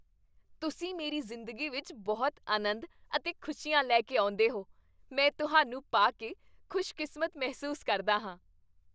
ਤੁਸੀਂ ਮੇਰੀ ਜ਼ਿੰਦਗੀ ਵਿੱਚ ਬਹੁਤ ਅਨੰਦ ਅਤੇ ਖੁਸ਼ੀਆਂ ਲੈ ਕੇ ਆਉਂਦੇਹੋ। ਮੈਂ ਤੁਹਾਨੂੰ ਪਾ ਕੇ ਖੁਸ਼ਕਿਸਮਤ ਮਹਿਸੂਸ ਕਰਦਾ ਹਾਂ।